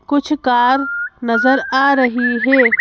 कुछ कार नज़र आ रही है।